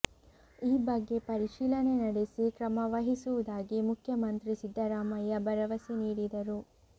ಈ ಬಗ್ಗೆ ಪರಿಶೀಲನೆ ನಡೆಸಿ ಕ್ರಮವಹಿಸುವುದಾಗಿ ಮುಖ್ಯಮಂತ್ರಿ ಸಿದ್ದರಾಮಯ್ಯ ಭರವಸೆ ನೀಡಿದರು